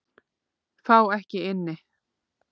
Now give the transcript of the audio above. Fá ekki inni